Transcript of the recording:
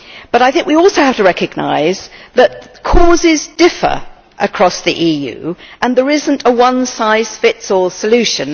I think we also have to recognise that causes differ across the EU and there is no one size fits all solution.